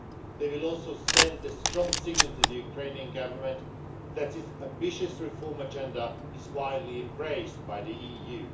They will also send the strong signal to the Ukrainian Government that its ambitious reform agenda is widely embraced by the EU.